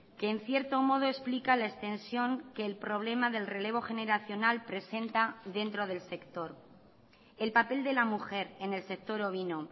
que en cierto modo explica la extensión que el problema del relevo generacional presenta dentro del sector el papel de la mujer en el sector ovino